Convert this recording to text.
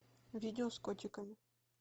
видео с котиком